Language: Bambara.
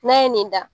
N'a ye nin da